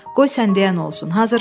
Qoy sən də yərəm olsun.